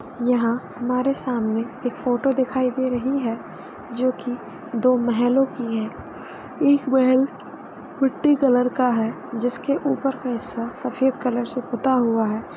यहाँ हमारे सामने एक फोटो दिखाई दे रही है जो की दो महलों की है एक महल मिट्टी कलर का है जिस के ऊपर का हिस्सा सफ़ेद कलर से पुता हुआ है।